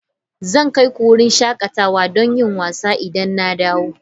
Zan kai ku wurin shakatawa don yin wasa idan na dawo.